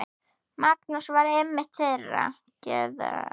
Magnús var einmitt þeirrar gerðar.